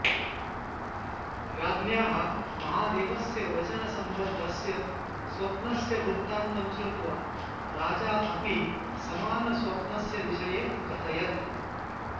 राज्ञ्याः महादेवस्य वचनसम्बद्धस्य स्वप्नस्य वृत्तान्तं श्रृत्वा राजा अपि समानस्वप्नस्य विषये अकथयत्